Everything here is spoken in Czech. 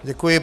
Děkuji.